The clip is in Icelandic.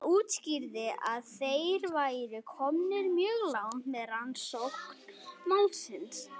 Hann útskýrði að þeir væru komnir mjög langt með rannsókn málsins.